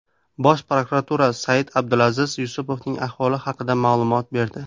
Bosh prokuratura Said-Abdulaziz Yusupovning ahvoli haqida ma’lumot berdi.